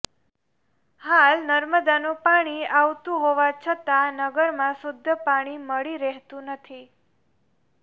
હાલ નર્મદાનું પાણી આવતું હોવા છતાં નગરમાં શુદ્ધ પાણી મળી રહેતું નથી